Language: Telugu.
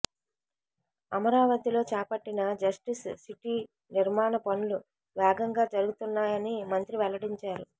అమరావతిలో చేపట్టిన జస్టిస్ సిటీ నిర్మాణ పనులు వేగంగా జరుగుతున్నాయని మంత్రి వెల్లడించారు